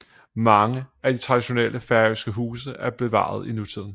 Mange af de traditionelle færøske huse er bevaret i nutiden